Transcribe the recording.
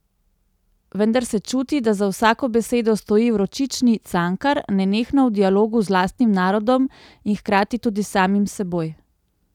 Vendar se čuti, da za vsako besedo stoji vročični Cankar, nenehno v dialogu z lastnim narodom in hkrati tudi s samim seboj.